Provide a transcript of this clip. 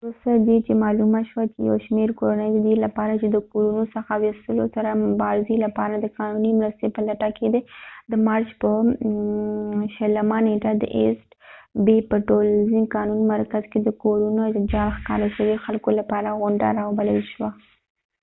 وروسته ددې چې معلومه شوه چې یو شمیر کورنۍ ددې لپاره چې د کورونو څخه و یستلو سره مبارزی لپاره د قانونی مرستی په لټه کې دي د مارچ په 20 نیټه د ایسټ بی په ټولنیز قانونی مرکز کې د کورونو د جعل ښکار شوي خلکو لپاره غونډه را وبلل شوه